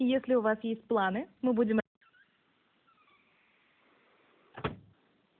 если у вас есть планы мы будем